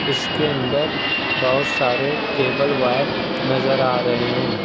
इसके अंदर बहोत सारे केबल वायर नजर आ रहे हैं।